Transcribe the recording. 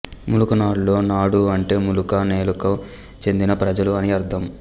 ములుకనాడులో నాడు అంటే ములుక నేలకు చెందిన ప్రజలు అని అర్థం